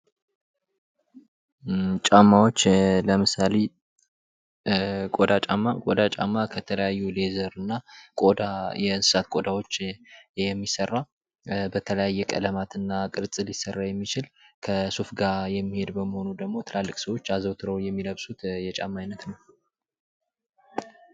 ጫማዎች ለምሳሌ ቆዳ ጫማ፦ ቆዳ ጫማ የተለያዩ ሌዘር እና ቆዳ የእንስሳት ቆዳዎች የሚሰራ በተለያየ ቀለማት እና ቅርፅ ሊሰራ የሚችል ከሱፍ ጋ የሚሔድ በመሆኑ ደግሞ ትላልቅ ሰዎች አዘወትረው የሚለብሱት የጫማ አይነት ነው።